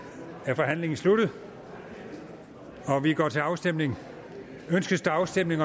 er forhandlingen sluttet og vi går til afstemning afstemning